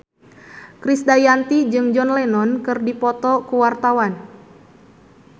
Krisdayanti jeung John Lennon keur dipoto ku wartawan